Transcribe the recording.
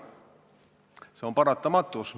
See on paratamatus.